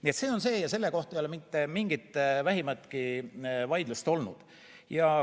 Nii et selle kohta ei ole mitte vähimatki vaidlust olnud.